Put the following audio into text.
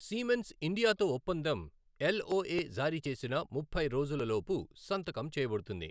Siemens ఇండియాతో ఒప్పందం LOA జారీ చేసిన ముప్పై రోజులలోపు సంతకం చేయబడుతుంది.